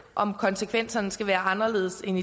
om konsekvenserne skal være anderledes end